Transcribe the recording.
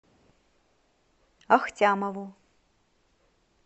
ахтямову